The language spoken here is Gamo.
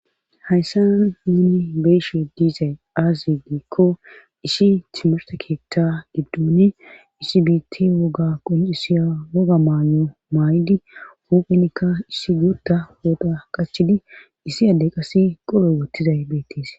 hayssa nuni beyshe diizay aazzegiikko issi timarte keeththa giddoni isi biitti woga qoncisiya woga maanyo maay7idi huphunikka issi guutda hooda qachidi issi addey qase qoro wottizay beettis